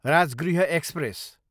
Rajgriha express